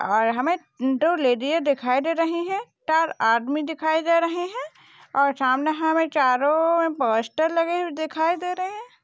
और हमे दो लेडी दिखाई दे रही है चार आदमी दिखाई दे रहे है और सामने हमे चारो पोस्टर लेगे हुए दिखाई दे रहे है।